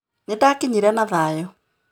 Nĩndakinyire na thayũ